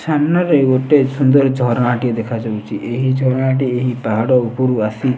ସାମ୍ନାରେ ଗୋଟେ ସୁନ୍ଦର ଝରଣାଟିଏ ଦେଖାଯାଉଚି। ଏହି ଝରଣାଟି ଏହି ପାହାଡ ଉପରୁ ଆସି।